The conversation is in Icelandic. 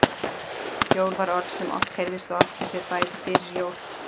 Jól var orð sem oft heyrðist og átti sér bæði fyrir jól